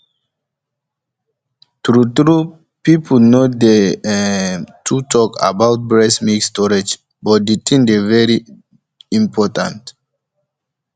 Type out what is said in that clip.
truetrue peopleno dey um too talk about breast milk storage but the thing dey very important um